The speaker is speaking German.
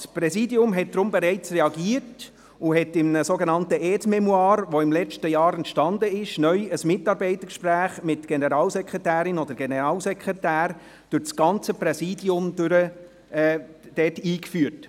Das Präsidium hat deshalb bereits reagiert und hat in einem sogenannten Aide-mémoire, das im letzten Jahr entstanden ist, neu ein Mitarbeitergespräch mit der Generalsekretärin oder dem Generalsekretär durch das ganze Präsidium eingeführt.